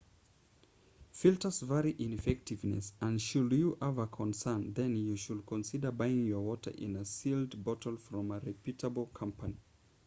filters vary in effectiveness and should you have a concern then you should consider buying your water in a sealed bottle from a reputable company